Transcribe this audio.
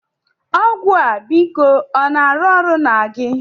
Ọgwụ a, biko ọ na-arụ ọrụ na gị?